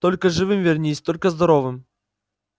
только живым вернись только здоровым